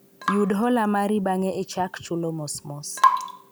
yud hola mari bang'e ichal chulo mosmos